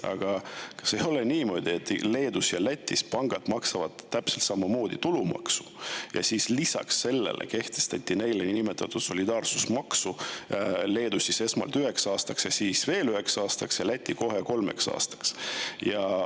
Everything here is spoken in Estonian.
Aga kas ei ole niimoodi, et Leedus ja Lätis maksavad pangad täpselt samamoodi tulumaksu ja lisaks sellele kehtestati neile niinimetatud solidaarsusmaks Leedus esmalt üheks aastaks ja siis veel üheks aastaks ning Lätis kohe kolmeks aastaks?